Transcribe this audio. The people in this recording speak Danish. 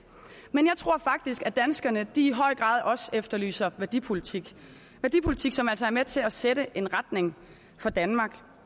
men jeg tror faktisk at danskerne i høj grad også efterlyser værdipolitik en værdipolitik som altså er med til at sætte en retning for danmark